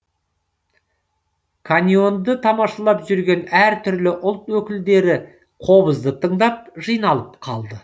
каньонды тамашалап жүрген әр түрлі ұлт өкілдері қобызды тыңдап жиналып қалды